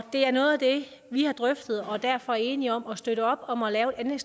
det er noget af det vi har drøftet og vi er derfor enige om at støtte op om at lave en